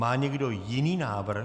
Má někdo jiný návrh?